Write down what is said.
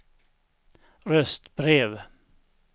röstbrev